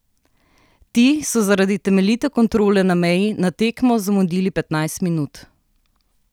Ti so zaradi temeljite kontrole na meji na tekmo zamudili petnajst minut.